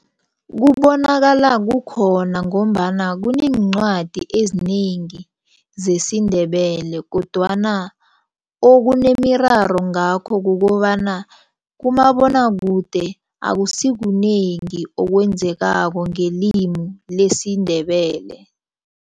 Kubonakala kukhona ngombana kuneencwadi ezinengi zesiNdebele kodwana okunemiraro ngakho kukobana kumabonwakude akusikunengi okwenzekako ngelimi lesiNdebele.